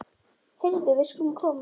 Heyrðu, við skulum koma.